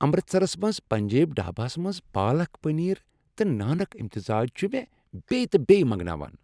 امرتسرس منٛز پنجابی ڈھاباہس منٛز پالک پنیر تہٕ نانک امتزاج چھُ مےٚ بییہِ تہ بییہِ منٛگناوان ۔